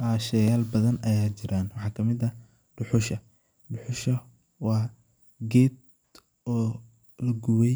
Haa sheyaal badan ayaa jiran waxaa kamid ah duhusha. Duhusha waa geed oo lagubay